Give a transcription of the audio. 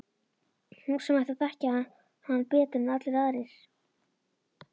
Hún sem ætti að þekkja hann betur en allir aðrir.